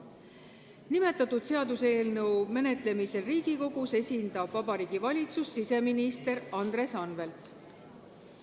Nimetatud seaduseelnõu menetlemisel Riigikogus esindab Vabariigi Valitsust siseminister Andres Anvelt.